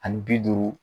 Ani bi duuru